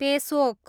पेसोक